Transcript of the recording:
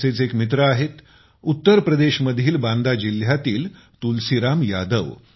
असेच एक मित्र आहेत उत्तरप्रदेश मधील बांदा जिल्ह्यातील तुलसीराम यादव